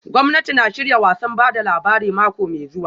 Gwamnati na shirya wasan ba da labari mako mai zuwa